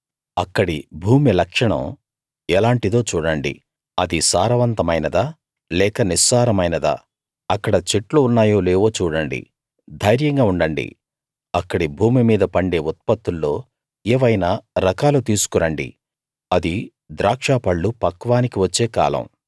అక్కడి భూమి లక్షణం ఎలాంటిదో చూడండి అది సారవంతమైనదా లేక నిస్సారమైనదా అక్కడ చెట్లు ఉన్నాయో లేవో చూడండి ధైర్యంగా ఉండండి అక్కడి భూమి మీద పండే ఉత్పత్తుల్లో ఏవైనా రకాలు తీసుకు రండి అది ద్రాక్ష పళ్ళు పక్వానికి వచ్చే కాలం